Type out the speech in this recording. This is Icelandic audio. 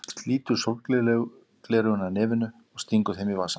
Slítur sólgleraugun af nefinu og stingur þeim í vasann.